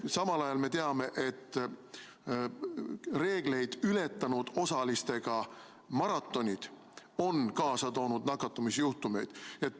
Samal ajal me teame, et reegleid ületanud osaliste arvuga maratonid on kaasa toonud nakatumisjuhtumeid.